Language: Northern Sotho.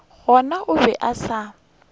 gona o be a sa